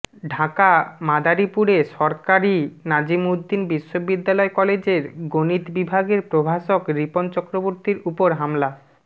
ঢাকাঃ মাদারীপুরে সরকারি নাজিমউদ্দিন বিশ্ববিদ্যালয় কলেজের গণিত বিভাগের প্রভাষক রিপন চক্রবর্তীর উপর হামলা